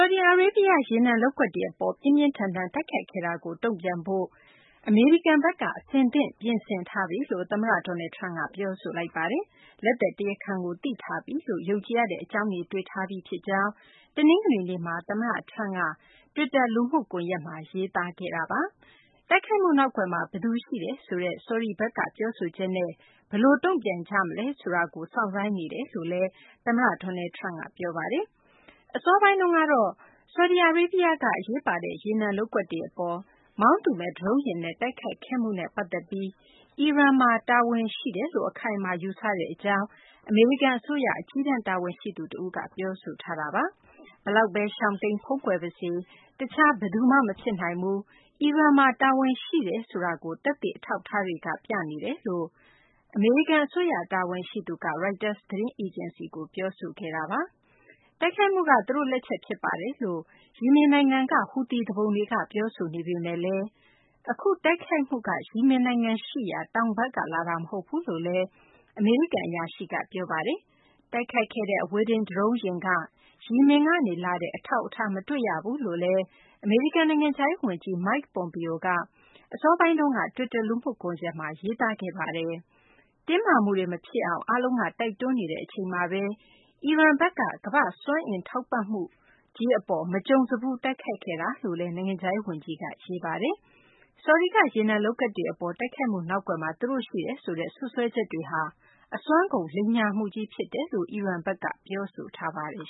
ဒီအာရေဗျရဲ့ ရေနံလုပ်ကွက်တွေကို ပြင်းပြင်းထန်ထန် တိုက်ခိုက်ခဲ့မှုနဲ့ ပတ်သက်ပြီး တုံ့ပြန်ဖို့ အမေရိကန်က အဆင်သင့် ပြင်ဆင်ထားပြီလို့ သမ္မတ Donald Trump က ပြောဆိုလိုက်ပါတယ်။ လက်သည်တရားခံကို သိရှိထားပြီလို့ ယုံကြည်ရတဲ့ အကြောင်း ရှိထားပြီဖြစ်ကြောင်းလည်း သမ္မတ Trump က တနင်္ဂနွေနေ့မှာ တွစ်တာ လူမှုကွန်ရက်မှာ ရေးသားပါတယ်။ တိုက်ခိုက်မှုနောက်ကွယ်မှာ ဘယ်သူရှိတယ်လို့ ယုံကြည်ထားသလဲ ဆိုတာနဲ့ ဘယ်လိုပုံစံ တုံ့ပြန်မလဲဆိုတဲ့ ဆော်ဒီဘက်က ပြောဆိုချက်ကို စောင့်ဆိုင်းနေတယ်လို့လည်း သမ္မတ Trump က ထပ်လောင်းပြောပါတယ်။ ဆော်ဒီအာရေဗျက အရေးပါတဲ့ ရေနံလုပ်ကွက်တွေအပေါ် မောင်းသူမဲ့ ဒရုန်းယာဉ်နဲ့ တိုက်ခိုက်ခဲ့မှုနဲ့ပတ်သက်ပြီး အီရန်မှာ တာဝန်ရှိတယ်လို့ အခိုင်အမာ ယူဆကြောင်း အမေရိကန်အစိုးရ အကြီးတန်း တာဝန်ရှိသူတဦးက ဒီမတိုင်ခင်မှာ ပြောဆိုထားတာပါ။ အီရန်မှာ တာဝန်ရှိတယ်ဆိုတာကို သက်သေအထောက်အထားတွေက ပြသနေတယ်လို့ အမေရိကန်အစိုးရ တာဝန်ရှိသူက Reuters သတင်းအေဂျင်စီကို ပြောဆိုခဲ့ပါတယ်။ တိုက်ခိုက်မှုက သူတို့လက်ချက် ဖြစ်ပါတယ်လို့ ယီမင်နိုင်ငံက ဟူသီသူပုန်တွေက ပြောဆိုနေပေမယ့်လည်း အခုတိုက်ခိုက်မှုက ယီမင်နိုင်ငံရှိရာ တောင်ဘက်ကလာတာ မဟုတ်ဘူးလို့လည်း အမေရိကန်အရာရှိက ပြောပါတယ်။ တိုက်ခိုက်ခဲ့တဲ့ အဝေးထိန်း ဒရုန်းယာဉ်က ယီမင်ကနေလာတဲ့ အထောက်အထား မတွေ့ရဘူးလို့လည်း အမေရိကန် နိုင်ငံခြားရေးဝန်ကြီး Mike Pompeo က အစောပိုင်းကပဲ တွစ်တာ လူမှုကွန်ရက်မှာ ရေးသားခဲ့တာပါ။ တင်းမာမှုတွေမဖြစ်အောင် အားလုံးက တိုက်တွန်းနေတဲ့ အချိန်မှာပဲ အီရန်ဘက်က ကမ္ဘာ့စွမ်းအင် ထောက်ပံ့မှုအပေါ် မကြုံစဘူး တိုက်ခိုက်ခဲ့တယ်လို့လည်း ရေးပါတယ်။ ဆော်ဒီက ရေနံလုပ်ကွက်တွေအပေါ် တိုက်ခိုက်မှု နောက်ကွယ်မှာ သူတို့ရှိတယ်ဆိုတဲ့ စွပ်စွဲချက်တွေဟာ အစွမ်းကုန် လိမ်ညာမှုကြီး ဖြစ်တယ်လို့ အီရန်ဘက်က ပြောဆိုထားပါတယ်